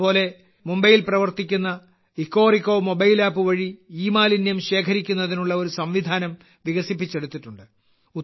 അതുപോലെ മുംബൈയിൽ പ്രവർത്തിക്കുന്ന എക്കോറെക്കോ മൊബൈൽ ആപ്പ് വഴി ഇമാലിന്യം ശേഖരിക്കുന്നതിനുള്ള ഒരു സംവിധാനം വികസിപ്പിച്ചെടുത്തിട്ടുണ്ട്